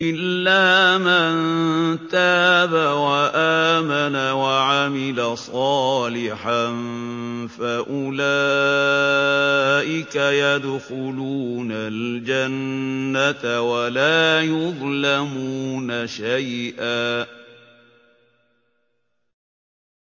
إِلَّا مَن تَابَ وَآمَنَ وَعَمِلَ صَالِحًا فَأُولَٰئِكَ يَدْخُلُونَ الْجَنَّةَ وَلَا يُظْلَمُونَ شَيْئًا